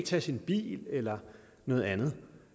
tage sin bil eller noget andet